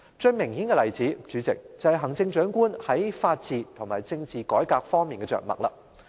最明顯的例子，代理主席，就是行政長官在法治和政治改革方面的着墨。